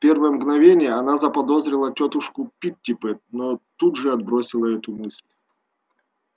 в первое мгновение она заподозрила тётушку питтипэт но тут же отбросила эту мысль